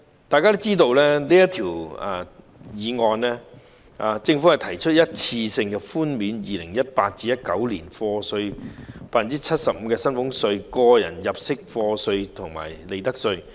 大家知道，這項《條例草案》是關於政府提出一次性寬免 2018-2019 課稅年度的 75% 薪俸稅、個人入息課稅及利得稅。